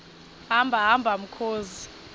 hamba hamba mkhozi